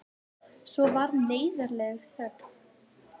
Svo varð neyðarleg þögn.